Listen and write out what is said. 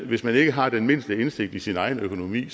hvis man ikke har den mindste indsigt i sin egen økonomi